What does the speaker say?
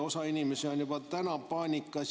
Osa inimesi on juba praegu paanikas.